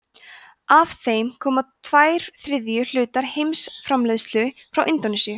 af þeim koma tveir þriðju hlutar heimsframleiðslu frá indónesíu